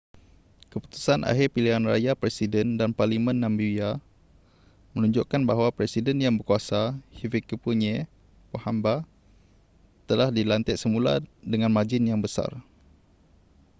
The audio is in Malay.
keputusan akhir pilihan raya presiden dan parlimen namibia menunjukkan bahawa presiden yang berkuasa hifikepunye pohamba telah dilantik semula dengan margin yang besar